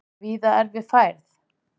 Víða erfið færð